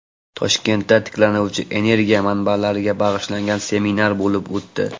Toshkentda tiklanuvchi energiya manbalariga bag‘ishlangan seminar bo‘lib o‘tdi.